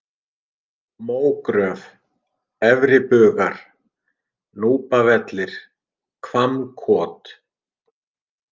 Mógröf, Efribugar, Núpavellir, Hvammkot